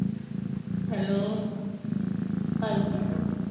hello ਹਾਂਜੀ ਮੈਂ ਕਿਹਾ